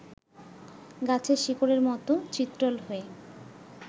গাছের শিকড়ের মতো চিত্রল হয়ে